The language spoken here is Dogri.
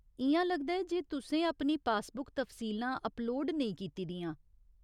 इ'यां लगदा ऐ जे तुसें अपनी पासबुक तफसीलां अपलोड नेईं कीती दियां।